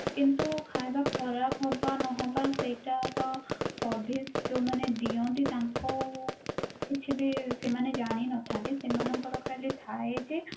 କିନ୍ତୁ ଖାଇବା ଖରାପ ହବା ନ ହବା ସେଟା ତ service ଯୋଉମାନେ ଦିଅନ୍ତି ତାଙ୍କ କିଛି ବି ସେମାନେ ଜାଣି ନଥାନ୍ତି ସେମାନଙ୍କର ଖାଲି ଥାଏ ଯେ